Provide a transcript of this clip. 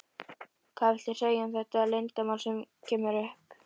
Hvað viltu segja um þetta leiðindamál sem kemur upp?